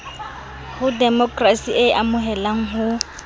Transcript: ho demokrasi e amohelang ho